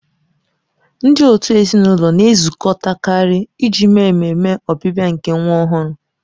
Ndị òtù ezinụlọ na-ezukọtakarị iji mee ememe ọbịbịa nke nwa ọhụrụ.